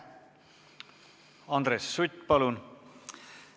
Andres Sutt, palun!